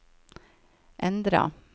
endra